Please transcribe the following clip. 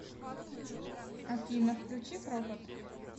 афина включи крокот